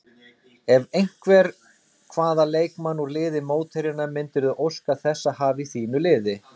Ef einhvern, hvaða leikmann úr liði mótherjanna myndirðu óska þess að hafa í þínu liði?